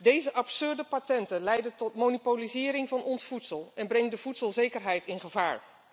Deze absurde patenten leiden tot monopolisering van ons voedsel en brengen de voedselzekerheid in gevaar.